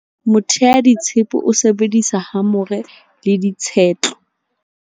Moteaditshepe o sebedisa hamore le tshetlo.